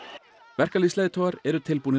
verkalýðsleiðtogar eru tilbúnir